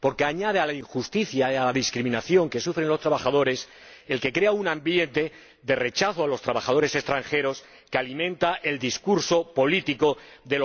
porque, además de la injusticia y la discriminación que sufren los trabajadores extranjeros, se crea un ambiente de rechazo a estos trabajadores que alimenta el discurso político de los xenófobos y racistas ―como acabamos de escuchar no hace mucho rato―.